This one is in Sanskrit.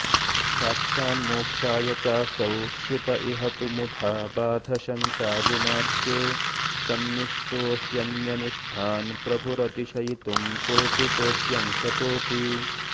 साक्षान्मोक्षाय चासौ श्रुत इह तु मुधा बाध शङ्का गुणाढ्ये तन्निष्टो ह्यन्यनिष्ठान् प्रभुरतिशयितुं कोटिकोट्यंशतोऽपि